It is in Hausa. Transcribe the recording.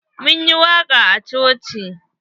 Mun yi waƙa a coci.